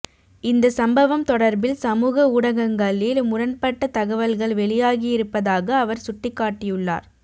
இந்த சம்பவம் தொடர்பில் சமூக ஊடகங்களில் முரண்பட்ட தகவல்கள் வெளியாகியிருப்பதாக அவர் சுட்டிக்காட்டியுள்ளார்